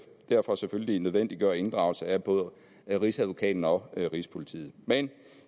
derfor selvfølgelig nødvendiggøre inddragelse af både rigsadvokaten og rigspolitiet men